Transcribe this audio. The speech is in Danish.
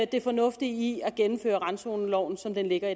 det fornuftige i at gennemføre randzoneloven som den ligger